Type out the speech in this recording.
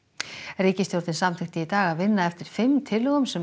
ríkisstjórnin samþykkti í dag að vinna eftir fimm tillögum sem